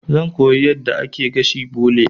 Zan koya yadda ake gashin bole.